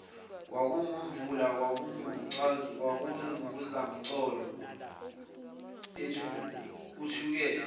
kwakungemvula kwakunguzamcolo uthukela